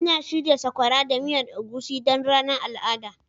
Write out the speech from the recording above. Ina shirya sakora da miyar egusi don ranar al'ada.